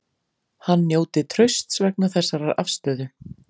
Hann njóti trausts vegna þessarar afstöðu